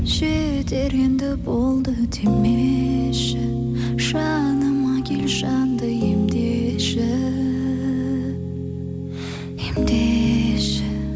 жетер енді болды демеші жаныма келші жанды емдеші емдеші